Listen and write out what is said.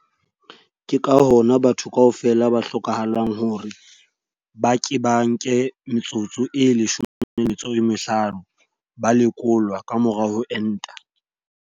Ke ka hona batho kaofela ho hlokahalang hore ba ke ba nke metsotso e 15 ba lekolwa ka mora ho enta.